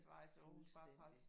Fuldstændig